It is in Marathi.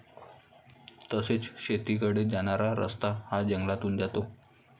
तसेच शेतीकडे जाणारा रस्ता हा जंगलातून जातो.